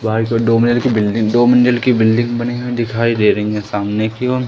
बाहर की ओर दो मंजिल की बिल्डिंग दो मंजिल की बिल्डिंग बनी हुई दिखाई दे रही हैं सामने की ओर।